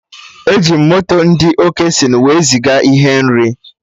Eji m moto ndị Okesịnụ wee ziga ihe nri